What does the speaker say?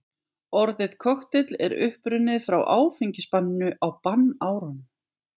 Orðið kokteill er upprunnið frá áfengisbanninu á bannárunum.